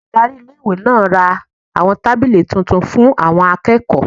Olùdarí iléèwé náà ra àwọn tábìlì tuntun fún àwọn akẹ́kọ̀ọ́